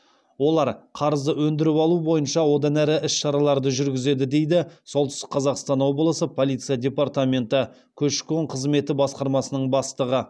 олар қарызды өндіріп алу бойынша одан әрі іс шараларды жүргізеді дейді солтүстік қазақстан облысы полиция департаменті көші қон қызметі басқармасының бастығы